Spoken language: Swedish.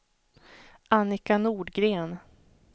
Annika Nordgren